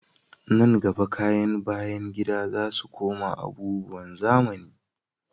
Nan gaba, kayan bayan gida za su koma abubuwan zamani